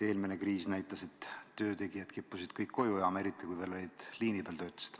Eelmine kriis näitas, et töötegijad kippusid kõik koju jääma, eriti kui nad veel liini peal töötasid.